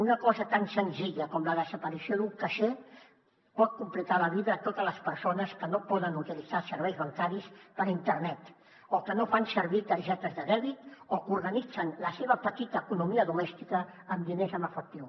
una cosa tan senzilla com la desaparició d’un caixer pot complicar la vida a totes les persones que no poden utilitzar serveis bancaris per internet o que no fan servir targetes de dèbit o que organitzen la seva petita economia domèstica amb diners en efectiu